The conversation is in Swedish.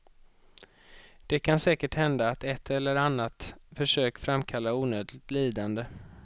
Det kan säkert hända att ett eller annat försök framkallar onödigt lidande.